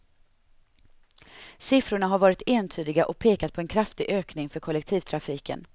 Siffrorna har varit entydiga och pekat på en kraftig ökning för kollektivtrafiken.